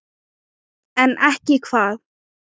En ekki hvað?